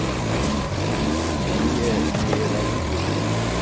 мария мейралиевна